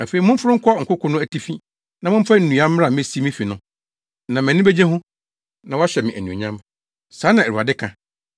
Afei momforo nkɔ nkoko no atifi, na momfa nnua mmra mmesi me fi no. Na mʼani begye ho, na wɔahyɛ me anuonyam.” Saa na Awurade ka.